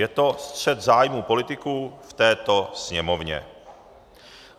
Je to střet zájmu politiků v této Sněmovně.